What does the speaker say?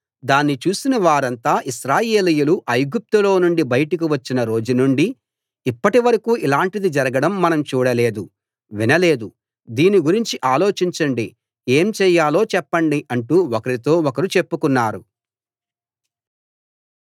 దాన్ని చూసిన వారంతా ఇశ్రాయేలీయులు ఐగుప్తులో నుండి బయటకు వచ్చిన రోజు నుండి ఇప్పటి వరకూ ఇలాంటిది జరగడం మనం చూడలేదు వినలేదు దీని గురించి ఆలోచించండి ఏం చేయాలో చెప్పండి అంటూ ఒకరితో ఒకరు చెప్పుకున్నారు